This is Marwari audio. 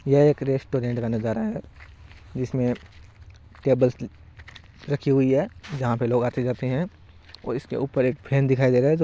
यह एक रेस्टोरेंट का नजारा है जिसमे टेबल रखी हुई है जहा पे लोग आते जाते है और उसके ऊपर एक फेन दिखाई दे रहा है जो --